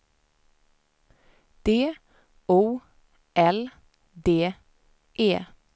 D O L D E